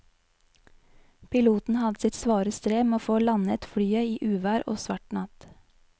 Piloten hadde sitt svare strev med å få landet flyet i uvær og svart natt.